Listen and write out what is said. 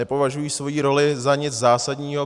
Nepovažují svoji roli za nic zásadního.